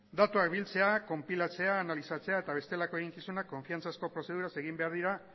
datuak biltzea konpilatzea analizatzea eta bestelako eginkizunak konfidantzazko prozeduraz egin behar dira